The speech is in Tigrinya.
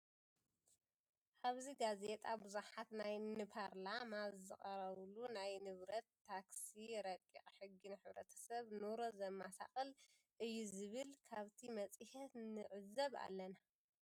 አብዚ ጋዜጣ ቡዙሓት ናይ ንፓርላማ ዝቀረበሉ ናይ ንብረት ታክሲ ረቂቅ ሕጊ ንሕብረተሰብ ኑሮ ዘመሰቃል እዩ ዝብል ካብቲ መፅሄት ንዕዘብ ኣለና።